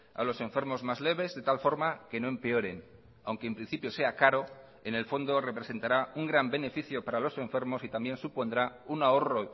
a los enfermos más leves de tal forma que no empeoren aunque en principio sea caro en el fondo representará un gran beneficio para los enfermos y también supondrá un ahorro